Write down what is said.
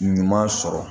Ɲuman sɔrɔ